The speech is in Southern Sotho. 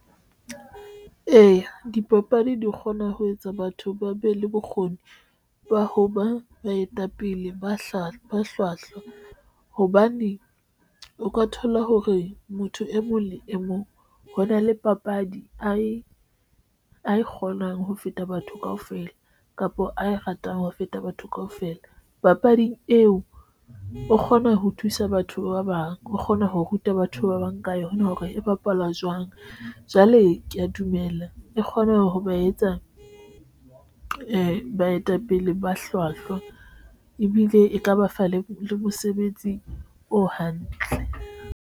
Eya, dipapadi di kgona ho etsa batho ba be le bokgoni ba ho ba baetapele ba hlwahlwa hobane o ka thola hore motho e mong le e mong ho na le papadi ae e kgonang ho feta batho kaofela kapa ae ratang ho feta batho kaofela papadi eo o kgona ho thusa batho ba bang, o kgona ho ruta batho ba bang ka yona, hore e bapalwa jwang ang. Jwale ke ya dumela e kgone ho ba etsa baetapele ba hlwahlwa ebile e ka ba fa le mosebetsi o hantle.